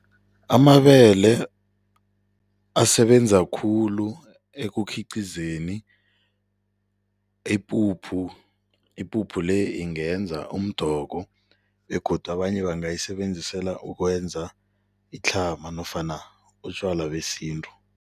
Amabele asebenza khulu ekukhiqizeni ipuphu. Ipuphu le ingenza umdoko begodu abanye bangayisebenzisela ukwenza itlhama nofana utjwala besintu.